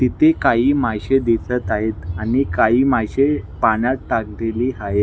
इथे काही माशे दिसत आहेत आणि काही माशे पाण्यात टाकलेली हाये--